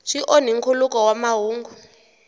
swi onhi nkhuluko wa mahungu